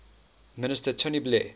minister tony blair